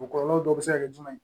O kɔlɔlɔ dɔw bɛ se ka kɛ jumɛn ye